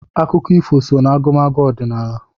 Akụkọ ifo so n'agụmagụ ọdịnala.